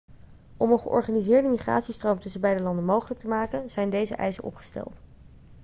om een georganiseerde migratiestroom tussen beide landen mogelijk te maken zijn deze eisen opgesteld